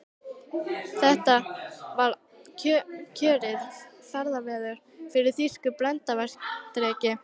Þetta var kjörið ferðaveður fyrir þýska bryndreka.